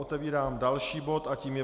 Otevírám další bod a tím je